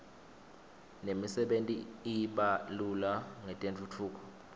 nemisebenti i iba lula ngetentfutfuko